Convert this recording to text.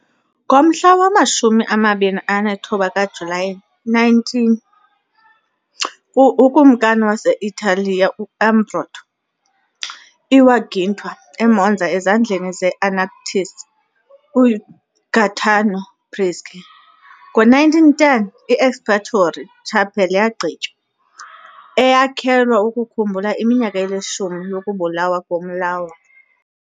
Ngomhla wama-29 kaJulayi 1900, ukumkani wase-Italiya u-Umberto I wagwintwa eMonza ezandleni ze-anarchist uGaetano Bresci . Ngo-1910 i- Expiatory Chapel yagqitywa, eyakhelwe ukukhumbula iminyaka elishumi yokubulawa komlawuli.